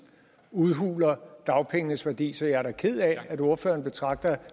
udhuler dagpengenes værdi så jeg er da ked af at ordføreren betragter